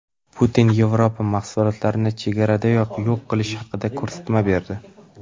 Putin Yevropa mahsulotlarini chegaradayoq yo‘q qilish haqida ko‘rsatma berdi.